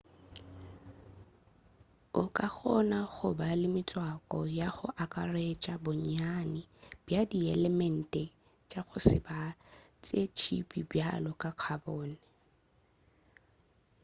o ka kgona go ba le metswako ya go akaretša bonnyane bja dielemente tša go se be tša tšhipi bjalo ka carbon